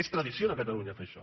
és tradició de catalunya fer això